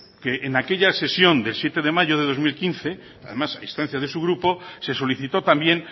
que en aquella sesión de siete de mayo de dos mil quince además a instancia de su grupo se solicitó también